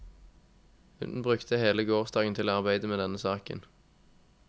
Hun brukte hele gårsdagen til å arbeide med denne saken.